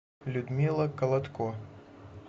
людмила колодко